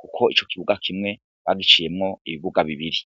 kuko ico ikibuga kimwe bagiciyemwo ibibuga bibiri.